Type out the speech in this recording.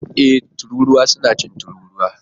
Ee! Tururuwa suna cin tururuwa